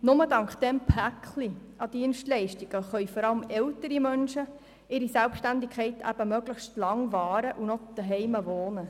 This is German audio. Nur dank diesem Dienstleistungspaket können vor allem ältere Menschen ihre Selbstständigkeit möglichst lange wahren und zu Hause wohnen.